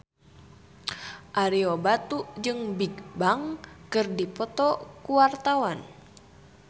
Ario Batu jeung Bigbang keur dipoto ku wartawan